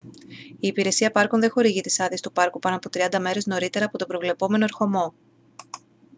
η υπηρεσία πάρκων δεν χορηγεί τις άδειες του πάρκου πάνω από 30 μέρες νωρίτερα από τον προβλεπόμενο ερχομό